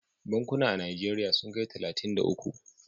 Bankuna a najeriya sun kai talatin da uku